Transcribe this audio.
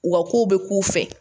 U ka kow bɛ k'u fɛ